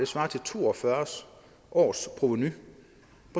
svarer til to og fyrre års provenu